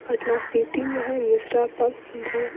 Patna city में है mister pump भ --